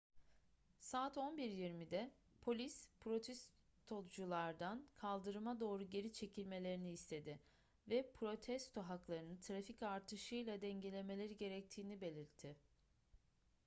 saat 11:20'de polis protestoculardan kaldırıma doğru geri çekilmelerini istedi ve protesto haklarını trafik artışıyla dengelemeleri gerektiğini belirtti